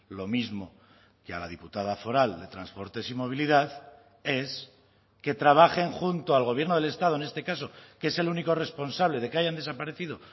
lo mismo que a la diputada foral de transportes y movilidad es que trabajen junto al gobierno del estado en este caso que es el único responsable de que hayan desaparecido